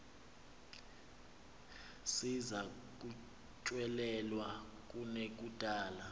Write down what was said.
ziza kutyelelwa kunekudala